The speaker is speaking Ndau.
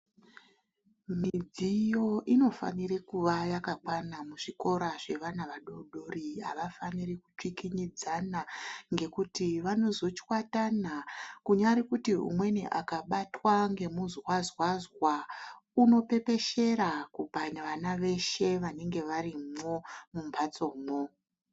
Midziyo inofanire kuva yakakwana muzvikoro zvevana vadoodori. Havafaniri kukikinyikidzana ngekuti vanozochwatana. Kunyari kiti umweni akabatwa ngemuzwazwazwa unopepeshera kupane vana veshe vanenge varimwo mumbatsomwo.